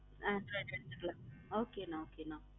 ஹம் சேரி எடுத்துகல okay நான் okay நான்